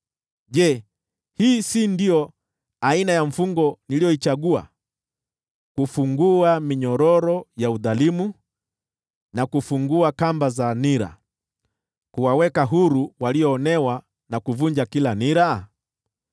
“Je, hii si ndiyo aina ya mfungo niliyoichagua: kufungua minyororo ya udhalimu, na kufungua kamba za nira, kuwaweka huru walioonewa, na kuvunja kila nira?